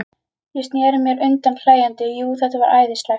Ég sneri mér undan hlæjandi, jú, þetta var æðislegt.